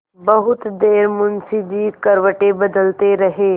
बहुत देर मुंशी जी करवटें बदलते रहे